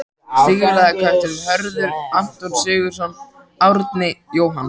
Stígvélaði kötturinn: Hörður, Anton Sigurðsson, Árni, Jóhann